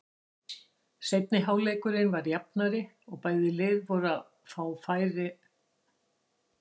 Seinni hálfleikurinn var jafnari og bæði lið voru að fá færi.